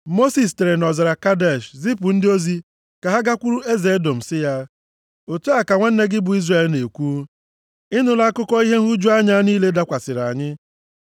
Mosis sitere nʼọzara Kadesh, zipụ ndị ozi ka ha gakwuru eze Edọm, sị ya, “Otu a ka nwanne gị bụ Izrel na-ekwu: Ị nụla akụkọ ihe nhụju anya niile dakwasịrị anyị.